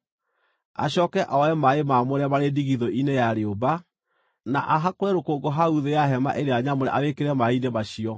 Acooke oe maaĩ maamũre marĩ ndigithũ-inĩ ya rĩũmba, na ahakũre rũkũngũ hau thĩ ya Hema-ĩrĩa-Nyamũre arwĩkĩre maaĩ-inĩ macio.